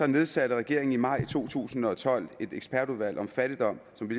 nedsatte regeringen i maj to tusind og tolv et ekspertudvalg om fattigdom som vi